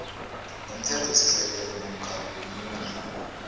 nomthethosisekelo namkha ngomunye